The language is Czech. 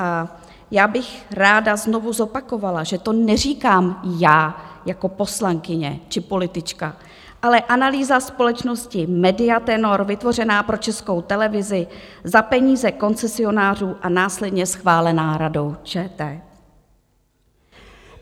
A já bych ráda znovu zopakovala, že to neříkám já jako poslankyně či politička, ale analýza společnosti Media Tenor vytvořená pro Českou televizi za peníze koncesionářů a následně schválená Radou ČT.